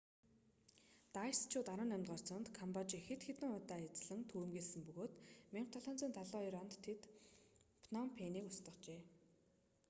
дайсчууд 18-р зуунд камбожийг хэд хэдэн удаа эзлэн түрэмгийлсэн бөгөөд 1772 онд тэд пном пэнийг устгажээ